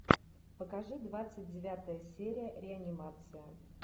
покажи двадцать девятая серия реанимация